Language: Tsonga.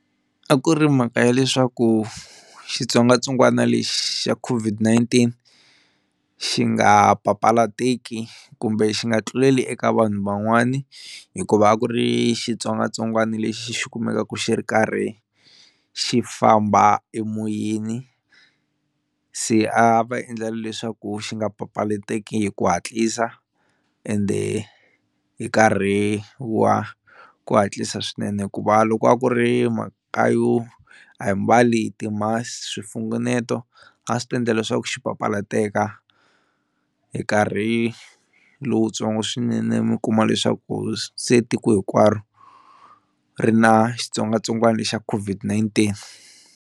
A ku ri mhaka ya leswaku xitsongwatsongwana lexi xa COVID-19 xi nga papalatekiki kumbe xi nga tluleli eka vanhu van'wani hikuva a ku ri xitsongwatsongwana lexi xi kumekaku xi ri karhi xi famba emoyeni, se a va endlela leswaku xi nga papalatekiki hi ku hatlisa ende hi nkarhi wa ku hatlisa swinene hikuva loko a ku ri mhaka yo a hi mbali ti swi mfunguneto a swi ta endla leswaku xi papalateka hi nkarhi lowutsongo swinene mi kuma leswaku se tiko hinkwaro ri na xitsongwatsongwana lexa COVID-19.